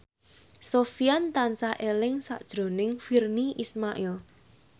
Sofyan tansah eling sakjroning Virnie Ismail